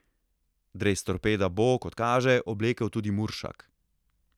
Dres Torpeda bo, kot kaže, oblekel tudi Muršak.